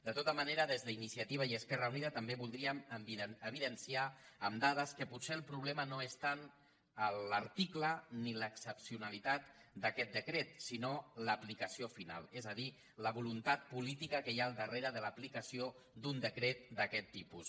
de tota manera des d’iniciativa i esquerra unida també voldríem evidenciar amb dades que potser el problema no és tant l’article ni l’excepcionalitat d’aquest decret sinó l’aplicació final és a dir la voluntat política que hi ha al darrere de l’aplicació d’un decret d’aquest tipus